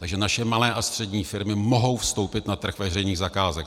Takže naše malé a střední firmy mohou vstoupit na trh veřejných zakázek.